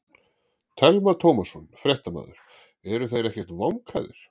Telma Tómasson, fréttamaður: Eru þeir ekkert vankaðir?